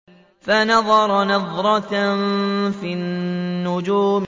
فَنَظَرَ نَظْرَةً فِي النُّجُومِ